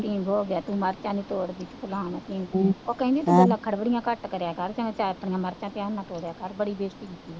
ਢੀਂਗ ਹੋ ਗਿਆ, ਤੂੰ ਮਿਰਚਾਂ ਨਹੀਂ ਤੋੜਦੀ, ਫਲਾਨਾ, ਢੀਂਗ, ਉਹ ਕਹਿੰਦੀ ਤੂੰ ਨਖਰਗਰੀਆਂ ਘੱਟ ਕਰਿਆ ਕਰ ਅਤੇ ਆਪਣੀਆਂ ਮਿਰਚਾਂ ਧਿਆਨ ਨਾਲ ਤੋੜਿਆ ਕਰ, ਬੜੀ ਬੇਇੱਜ਼ਤੀ ਕੀਤੀ ਹੈ